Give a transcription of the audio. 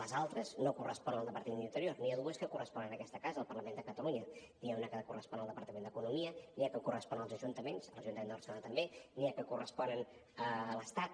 les altres no corresponen al departament d’interior n’hi ha dues que corresponen a aquesta casa al parlament de catalunya n’hi ha una que correspon al departament d’economia n’hi ha que corresponen als ajuntaments a l’ajuntament de barcelona també n’hi ha que corresponen a l’estat